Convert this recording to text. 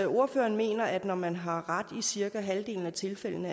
ordføreren mener at man når man har ret i cirka halvdelen af tilfældene